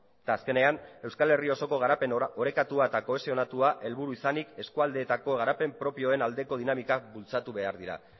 eta azkenean euskal herri osoko garapen orekatua eta kohesionatua helburu izanik eskualdeetako garapen propioen aldeko dinamika bultzatu behar dira